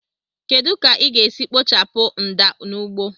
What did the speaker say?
Kedu ka ị ga-esi kpochapụ mda n'ugbo